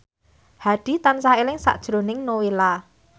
Hadi tansah eling sakjroning Nowela